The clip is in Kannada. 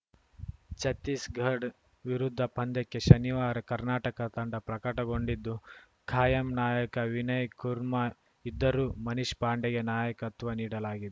ಛತ್ತೀಸ್‌ಗಡ್ ವಿರುದ್ಧ ಪಂದ್ಯಕ್ಕೆ ಶನಿವಾರ ಕರ್ನಾಟಕ ತಂಡ ಪ್ರಕಟಗೊಂಡಿದ್ದು ಕಾಯಂ ನಾಯಕ ವಿನಯ್‌ ಕುರ್ಮಾ ಇದ್ದರೂ ಮನೀಶ್‌ ಪಾಂಡೆಗೆ ನಾಯಕತ್ವ ನೀಡಲಾಗಿ